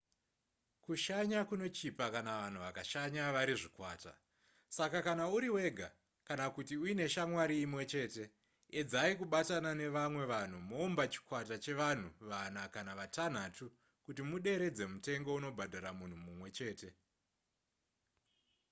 kushanya kunochipa kana vanhu vakashanya vari zvikwata saka kana uri wega kana kuti uine shamwari imwe chete edzai kubatana nevamwe vanhu moumba chikwata chevanhu vana kana vatanhatu kuti muderedze mutengo unobhadhara munhu mumwe chete